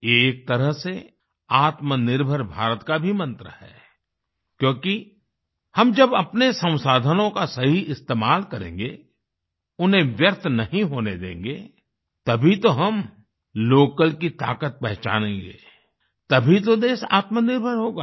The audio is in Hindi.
ये एक तरह से आत्मनिर्भर भारत का भी मंत्र है क्योंकि हम जब अपने संसाधनों का सही इस्तेमाल करेंगे उन्हें व्यर्थ नहीं होने देंगे तभी तो हम लोकल की ताकत पहचानेंगे तभी तो देश आत्मनिर्भर होगा